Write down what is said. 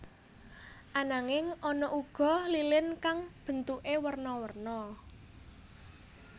Ananging ana uga lilin kang bentuké werna werna